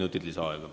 Kolm minutit lisaaega.